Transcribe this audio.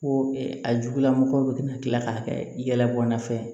Ko a jugugula mɔgɔw kana kila k'a kɛ yɛlɛbɔla ye fɛnɛ